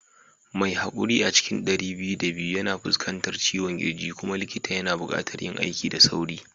Mai haƙuri a cikin ɗari biyu da biyu yana fuskantar ciwon kirji kuma likita yana buƙatar yin aiki da sauri